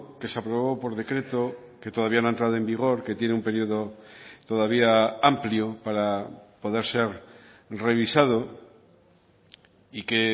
que se aprobó por decreto que todavía no ha entrado en vigor que tiene un periodo todavía amplio para poder ser revisado y que